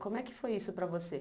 Como é que foi isso para você?